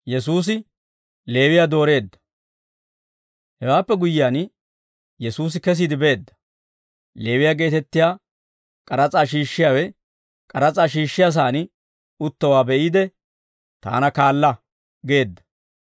Hewaappe guyyiyaan Yesuusi kesiide beedda; Leewiyaa geetettiyaa k'aras'aa shiishshiyaawe, k'aras'aa shiishshiyaasan uttowaa be'iide, «Taana kaala» geedda.